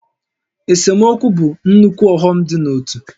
Esemokwu bụ nnukwu ọghọm dị n'ótú